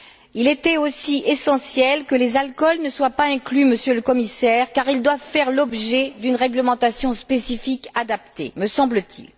Il était aussi essentiel que les alcools ne soient pas inclus, Monsieur le Commissaire, car ils doivent faire l'objet d'une réglementation spécifique adaptée, me semble t il.